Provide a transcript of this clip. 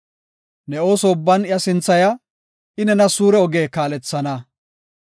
Ne ooso ubban iya sinthaya; I nena suure oge kaalethana.